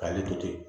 K'ale to ten